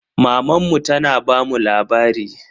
Mamanmu tana bamu labari.